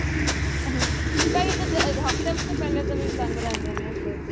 ਅਹ ਕਈ ਤੇ ਹੱਫ਼ਤੇ ਹੱਫ਼ਤੇ ਦੇ ਪਹਿਲੇ ਵੀ ਚਲਾਦੇ ਰਹਿੰਦੇ ਨੇ ਇੱਧਰ ਤੇ